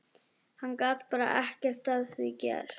Hann gat bara ekkert að því gert.